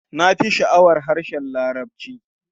Na fi sha'awar harshen Larabci.